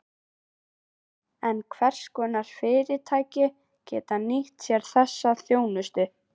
En hvers konar fyrirtæki geta nýtt sér þessa þjónustu?